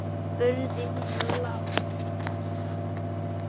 spurði hún lágt.